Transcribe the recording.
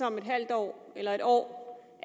om et halvt år eller et år